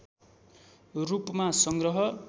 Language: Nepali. रूपमा संग्रह